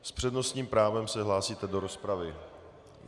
S přednostním právem se hlásíte do rozpravy.